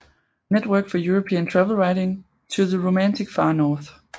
Network for European Travel Writing to the Romantic Far North